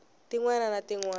tin wana na tin wana